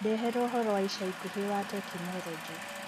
ndehera ũhoro wa ica ĩkũhĩ wa tekinoronjĩ